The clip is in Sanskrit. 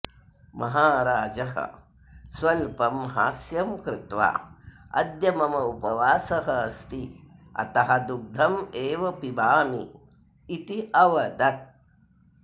महाराजः स्वल्पं हास्यं कृत्वा अद्य मम उपवासः अस्ति अतः दुग्धम् एव पिबामी इति अवदत्